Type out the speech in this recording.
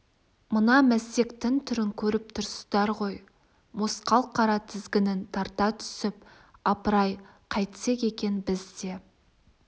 мына мәстектің түрін көріп тұрсыздар ғой мосқал қара тізгінін тарта түсіп апырай қайтсек екен біз де